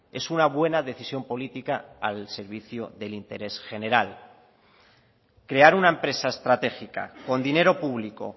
es una buena decisión política al servicio del interés general crear una empresa estratégica con dinero público